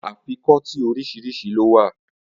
Afikọ́tí oríṣiríṣi ló wà